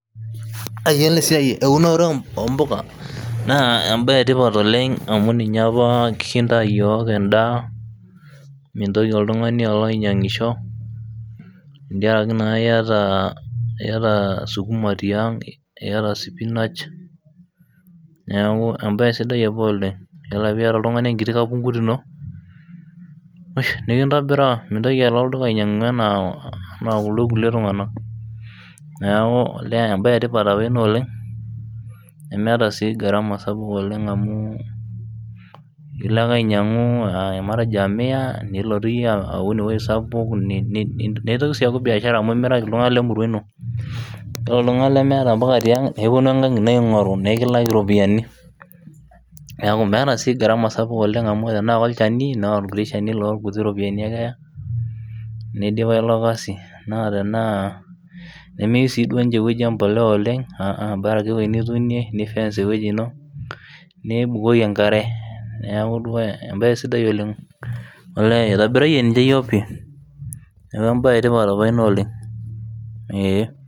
iyiolo esiai eunore oo impuka naa ebaye etipat oleng ninye apa kintaa iyiok edaa, mintoki oltung'ani alo anya tentiaraki naaenkiti enkiti kapunkut ino nikintobiraa, mintoki alo olduka anaa kuldo kulie tungana, ilo naji ake anyiang'u nilotu amir miya amiraki iltunganak lemurua ino nemeeta sii asara, bora ake ifesa nibukoki engare.